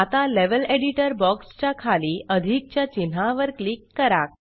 आता level editor box च्या खाली अधिकच्या चिन्हावर क्लिक करा